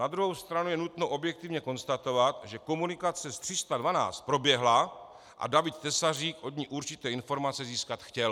Na druhou stranu je nutno objektivně konstatovat, že komunikace s 312 proběhla a David Tesařík od ní určité informace získat chtěl.